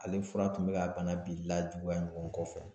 Ale fura tun bɛ ka bana bi lajuguya ɲɔgɔn kɔ fɛ.